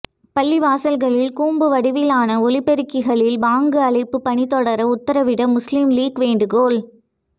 பள்ளிவாசல்களில் கூம்பு வடிவிலான ஒலிப்பெருக்கிகளில் பாங்கு அழைப்பு பணி தொடர உத்தரவிட முஸ்லிம் லீக் வேண்டுகோள்